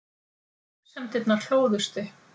Grunsemdirnar hlóðust upp.